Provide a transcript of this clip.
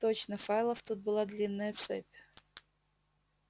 точно файлов тут была длинная цепь